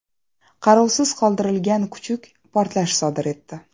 Qarovsiz qoldirilgan kuchuk portlash sodir etdi.